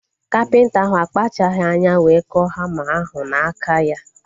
Kapịnta ahu akpachaghi anya wee kụọ hama ahu n'aka ya